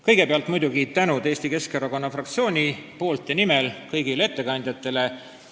Kõigepealt muidugi Eesti Keskerakonna fraktsiooni nimel suur tänu kõigile ettekandjatele!